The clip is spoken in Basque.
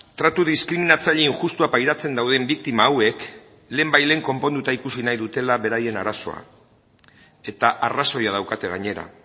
tratu diskriminatzaile injustua pairatzen dauden biktima hauek lehenbailehen konponduta ikusi nahi dutela beraien arazoa eta arrazoia daukate gainera